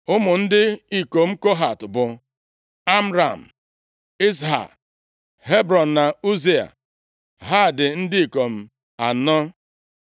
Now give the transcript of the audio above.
Ụmụ ndị ikom Kohat bụ Amram, Izha, Hebrọn na Uziel. Ha dị ndị ikom anọ.